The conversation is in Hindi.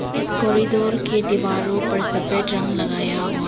इस कॉरिडोर की दीवारों पर सफेद रंग लगाया हुआ--